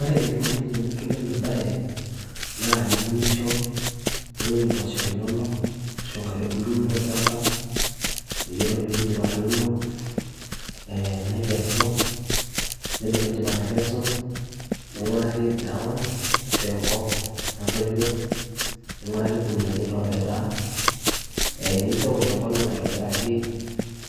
ore enikoni tenetumi ena baye naa iunisho niun impooshok inono ashu inkaitubulu inono tolchamba yiolo piindip atuuno ee nikesu yiolo piindip atekesu ning'uraki ground ashu enkop natoyio niing'uraki irkuniani lopetaa ee nincho ewosh enkolong aitobiraki